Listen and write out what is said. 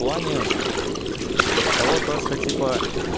в плане того то что типа